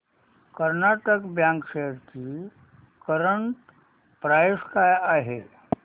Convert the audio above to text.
Karnataka bank shares ची current price काय आहे